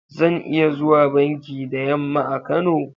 Zan iya zuwa banki da yamma a Kano?